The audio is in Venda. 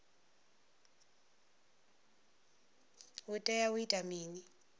u tea u ita mini